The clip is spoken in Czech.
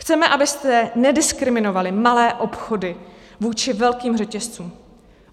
Chceme, abyste nediskriminovali malé obchody vůči velkým řetězcům.